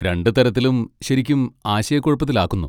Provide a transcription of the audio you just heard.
രണ്ട് തരത്തിലും ശരിക്കും ആശയക്കുഴപ്പത്തിലാക്കുന്നു.